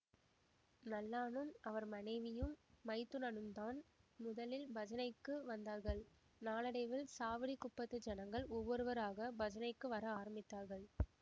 நல்லானும் அவர் மனைவியும் மைத்துனனுந்தான் முதலில் பஜனைக்கு வந்தார்கள் நாளடைவில் சாவடிக் குப்பத்து ஜனங்கள் ஒவ்வொருவராகப் பஜனைக்கு வர ஆரம்பித்தார்கள்